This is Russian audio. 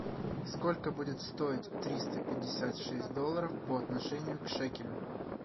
сколько будет стоить триста пятьдесят шесть долларов по отношению к шекелю